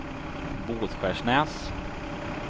Båtskärsnäs